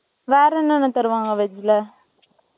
வேற என்னென்ன தருவாங்க, veg ல?